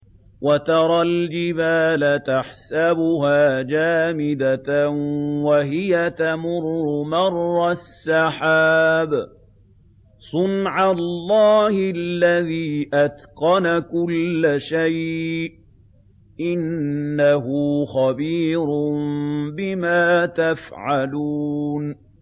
وَتَرَى الْجِبَالَ تَحْسَبُهَا جَامِدَةً وَهِيَ تَمُرُّ مَرَّ السَّحَابِ ۚ صُنْعَ اللَّهِ الَّذِي أَتْقَنَ كُلَّ شَيْءٍ ۚ إِنَّهُ خَبِيرٌ بِمَا تَفْعَلُونَ